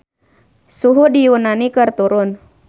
Suhu di Yunani keur turun